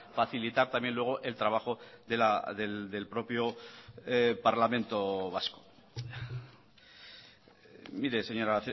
facilitar también luego el trabajo del propio parlamento vasco mire señora